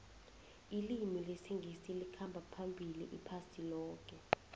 ilimi lesingisi likhamba phambili iphasi loke